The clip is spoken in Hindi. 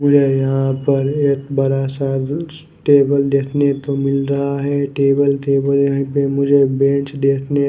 मुझे यहाँ पर एक बड़ा सा कुछ टेबल देखने को मिल रहा है टेबल के पीछे हमे एक बेंच देखने--